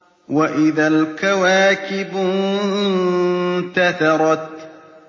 وَإِذَا الْكَوَاكِبُ انتَثَرَتْ